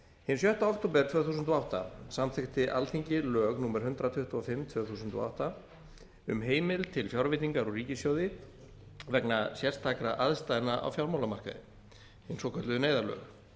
hinn sjötta október tvö þúsund og átta samþykkti alþingi lög númer hundrað tuttugu og fimm tvö þúsund og átta um heimild til fjárveitingar úr ríkissjóði vegna sérstakra aðstæðna á fjármálamarkaði hin svokölluðu neyðarlög